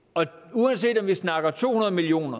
uanset om vi snakker to hundrede million